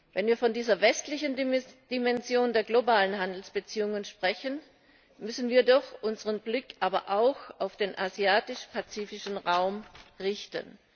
Wenn wir von dieser westlichen Dimension der globalen Handelsbeziehungen sprechen, müssen wir doch unseren Blick auch auf den asiatisch pazifischen Raum richten.